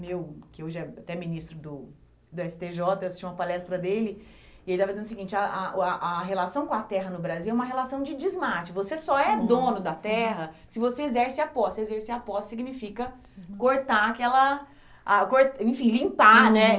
meu, que hoje é até ministro do do esse tê jota, eu assisti uma palestra dele, e ele estava dizendo o seguinte, a a o a a relação com a terra no Brasil é uma relação de desmate, você só é dono da terra se você exerce a posse, se você exerce a posse você exercer a posse significa cortar aquela a cor, enfim, limpar, né?